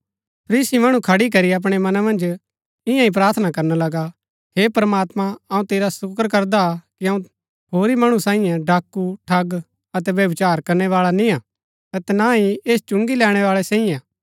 फरीसी मणु खड़ी करी अपणै मना मन्ज ईयांईं प्रार्थना करना लगा हे प्रमात्मां अऊँ तेरा सूकर करदा कि अऊँ होरी मणु सैईये डाकू ठग अतै व्यभिचार करनैवाळै निंआ अतै ना ही ऐस चुंगी लैणैवाळै सैईआ